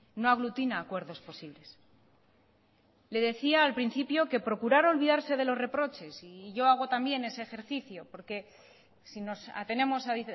no aglutina acuerdos posibles le decía al principio que procurar olvidarse de los reproches y yo hago también ese ejercicio porque si nos atenemos a